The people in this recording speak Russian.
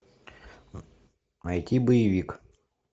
найти боевик